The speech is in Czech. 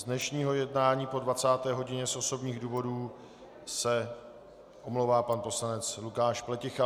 Z dnešního jednání po 20. hodině z osobních důvodů se omlouvá pan poslanec Lukáš Pleticha.